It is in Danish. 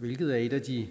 hvilket er et af de